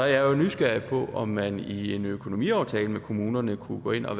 jeg jo nysgerrig på om man i en økonomiaftale med kommunerne kunne gå ind og